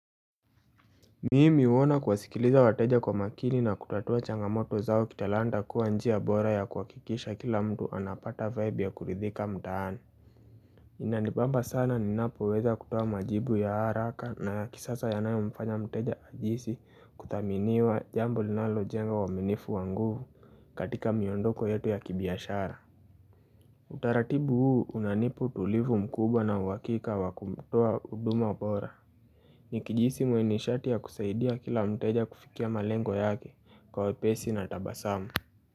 Mimi huona kuwasikiliza wateja kwa makini na kutatua changamoto zao kitalanda kuwa njia bora ya kuwakikisha kila mtu anapata vibe ya kuridhika mtaani Inanibamba sana ninapoweza kutoa majibu ya haraka na kisasa yanayo mfanya mteja ajihisi kudhaminiwa jambo linalojenga uaminifu wa nguvu katika miondoko yetu ya kibiashara Utaratibu huu unanipa utulivu mkubwa na uakika wa kumtoa huduma bora Nikijihisi mwenye nishati ya kusaidia kila mteja kufikia malengo yake kwa wepesi na tabasamu.